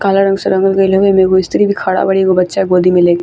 काला रंग से रंगल गइल हवेम एगो स्त्री भी खड़ा बड़ी एगो बच्चा गोदी में ले --